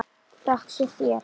Þökk sé þér.